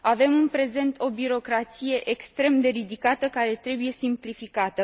Avem, în prezent, o birocrație extrem de ridicată, care trebuie simplificată!